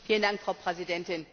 Frau Präsidentin!